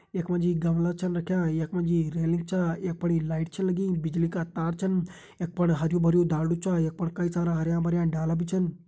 यखमा जी गमला छन रख्यां यखमा जी रेलिंग छा यख बड़ी लाइट छिन लगीं बिजली का तार छन यख पर हरु भरु धाडू छ यख पर कई सारा हरयां भरयाँ डाला भी छिन।